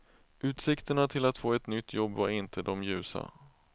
Utsikterna till att få ett nytt jobb var inte de ljusa.